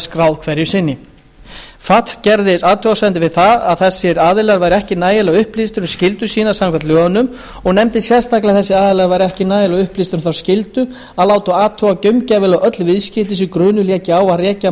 skráð hverju sinni fatf gerði athugasemdir við það að þessir aðilar væru ekki nægilega upplýstir um skyldur sínar samkvæmt lögunum og nefndi sérstaklega að þessir aðilar væru ekki nægilega upplýstir um þá skyldu að láta athuga gaumgæfilega öll viðskipti sem grunur léki á að rekja